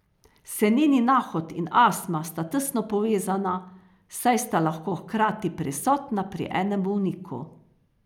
Seneni nahod in astma sta tesno povezana, saj sta lahko hkrati prisotna pri enem bolniku.